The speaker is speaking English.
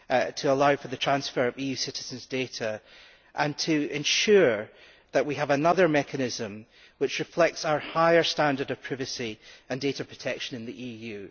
to allow for the transfer of EU citizens' data and to ensure that we have another mechanism which reflects our higher standard of privacy and data protection in the EU.